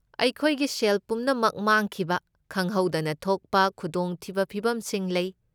ꯑꯩꯈꯣꯏꯒꯤ ꯁꯦꯜ ꯄꯨꯝꯅꯃꯛ ꯃꯥꯡꯈꯤꯕ ꯈꯪꯍꯧꯗꯅ ꯊꯣꯛꯄ ꯈꯨꯗꯣꯡꯊꯤꯕ ꯐꯤꯕꯝꯁꯤꯡ ꯂꯩ꯫